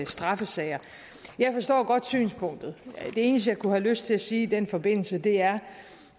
straffesager jeg forstår godt synspunktet det eneste jeg kunne have lyst til at sige i den forbindelse er